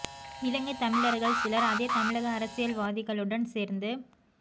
இலங்கைத்தமிழர்கள் சிலர் அதே தமிழக அரசியல்வாதிகழுடன் சேர்ந்து